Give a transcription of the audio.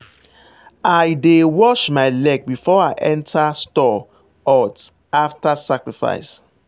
i dey wash my leg before i enter store hut after sacrifice.